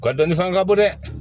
O ka dɔni fana ka bon dɛ